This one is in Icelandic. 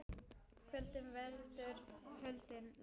Kvölum veldur holdið lest.